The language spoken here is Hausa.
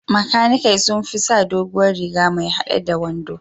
Makanikai sun fi sa doguwar riga mai haɗe a wando.